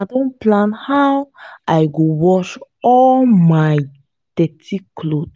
i don plan how i go wash all my dirty cloth